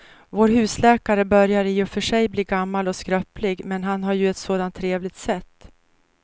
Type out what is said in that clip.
Vår husläkare börjar i och för sig bli gammal och skröplig, men han har ju ett sådant trevligt sätt!